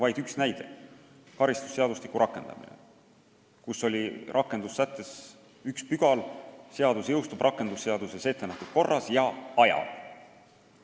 Vaid üks näide: karistusseadustiku puhul oli rakendussättes üks pügal: seadus jõustub rakendusseaduses ettenähtud korras ja ajal.